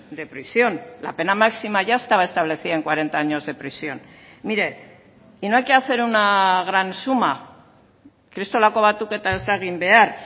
de prisión la pena máxima ya estaba establecida en cuarenta años de prisión mire y no hay que hacer una gran suma kristolako batuketa ez da egin behar